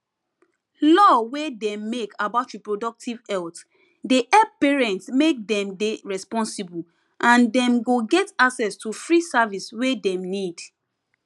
law wey dem make about reproductive health dey help parents make dem dey responsible and dem go get access to free service wey them need